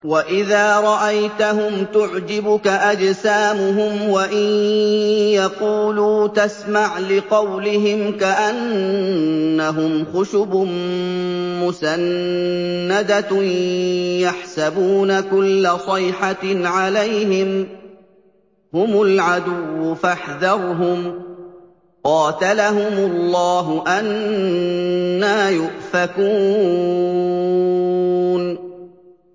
۞ وَإِذَا رَأَيْتَهُمْ تُعْجِبُكَ أَجْسَامُهُمْ ۖ وَإِن يَقُولُوا تَسْمَعْ لِقَوْلِهِمْ ۖ كَأَنَّهُمْ خُشُبٌ مُّسَنَّدَةٌ ۖ يَحْسَبُونَ كُلَّ صَيْحَةٍ عَلَيْهِمْ ۚ هُمُ الْعَدُوُّ فَاحْذَرْهُمْ ۚ قَاتَلَهُمُ اللَّهُ ۖ أَنَّىٰ يُؤْفَكُونَ